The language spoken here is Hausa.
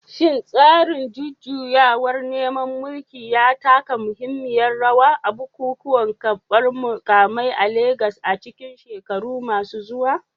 Shin tsarin jujjuyawar neman mulki ya taka muhimmiyar rawa a bukukuwan karbar mukamai a Legas a cikin shekaru masu zuwa?